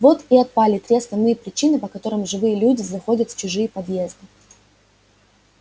вот и отпали три основные причины по которым живые люди заходят в чужие подъезды